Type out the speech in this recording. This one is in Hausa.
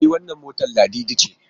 E wannan motar Ladidi ce.